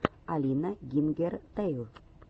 алина гингертэйл